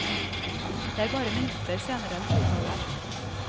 Det er bare minutter senere enn flytoget.